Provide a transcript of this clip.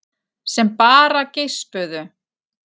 Sem bara geispuðu.